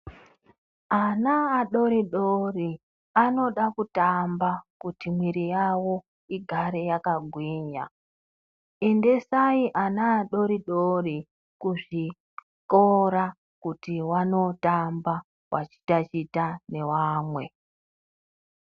Ana adoridori, anoda kutamba kuti mwiri yavo igare yakagwinya. Endesai ana adoridori kuzvikora kuti vanotamba vachitatita nevamwe.